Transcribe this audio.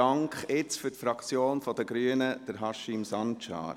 Jetzt für die Fraktion der Grünen, Haşim Sancar.